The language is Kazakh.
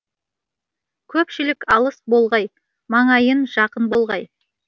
көпшілік алыс болғай маңайын жақын болғай